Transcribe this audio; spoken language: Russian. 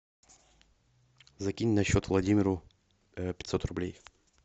закинь на счет владимиру пятьсот рублей